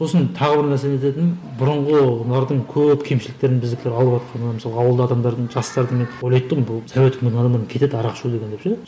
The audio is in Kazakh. сосын тағы бір нәрсе не ететінім бұрынғылардың көп кемшіліктерін біздікілер алыватқаны мысалға ауыл адамдардың жастарды мен ойлайтын тұғым бұл совет өкіметі адамдарымен кетеді арақ ішу деген деп ше